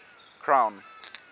crown